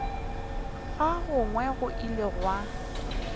ga gagwe go ile gwa